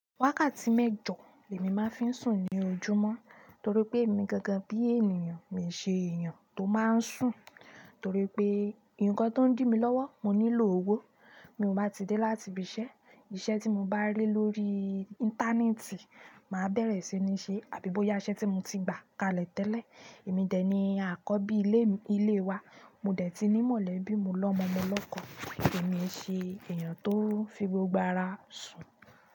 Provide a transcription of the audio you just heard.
Wákàtí mẹ́jọ lèmi máa ń fi sùn ní ojúmọ́ torí pé èmi gangan bí ènìyàn, mi ṣe èyan tó máa ń sùn torí pé ǹkan tó ń dí mi lọ́wọ́, oun nílò owó, mi ò bá ti dé láti ibi iṣẹ́, iṣẹ́ tí mo bá rí lórí íńtánẹ́ẹ̀tì, màá bẹ̀rẹ̀ sí ní ṣe, àbí bóyá iṣẹ́ tí mo ti gbà kalẹ̀ tẹ́lẹ̀, èmi dẹ̀ ni akọ́bí ilé wa, mo dẹ̀ ti ní mọ̀lẹ́bí, mo lọ́mọ mọ lọ́ko, èmi ṣe èyàn tó n fi gbogbo ara sùn.